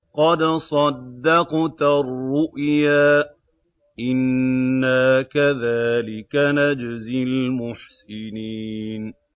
قَدْ صَدَّقْتَ الرُّؤْيَا ۚ إِنَّا كَذَٰلِكَ نَجْزِي الْمُحْسِنِينَ